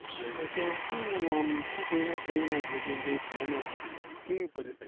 એ તો શું આમ શું કોઈને કઈ ના શકીએ શકીએ કેવી પરિસ્થિતિ